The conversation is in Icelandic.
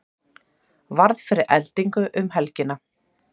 Varð fyrir eldingu um helgina